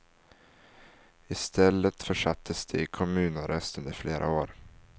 I stället försattes de i kommunarrest under flera år.